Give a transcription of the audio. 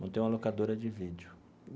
Montei uma locadora de vídeo.